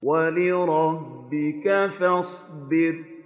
وَلِرَبِّكَ فَاصْبِرْ